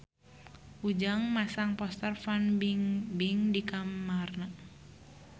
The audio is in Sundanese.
Ujang masang poster Fan Bingbing di kamarna